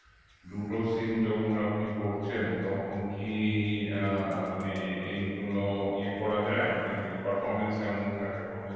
দুটো sim যখন আপনি ভরছেন তখন কি আহ মানে এইগুলো য়ে করা যায় মানে performance কেমন থাকে phone এর